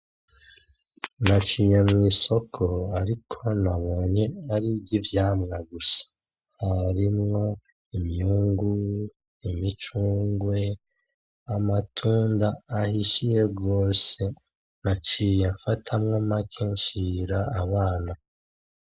Naciye mw'isoko ariko nabonye ari iry'ivyamwa gusa harimwo imyungu, imicungwe amatunda ahishiye gose naciye mfatamwo make nshira abana.